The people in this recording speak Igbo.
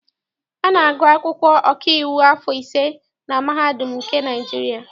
A na-agụ akwụkwọ ọkaiwu afọ ise na mahadum nke Naịjirịa.